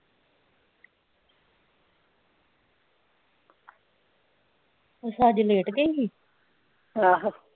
ਅੱਛਾ ਅੱਜ ਲੇਟ ਗਈ ਸੀ ਆਹੋ